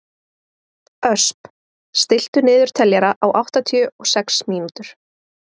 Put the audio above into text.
Ösp, stilltu niðurteljara á áttatíu og sex mínútur.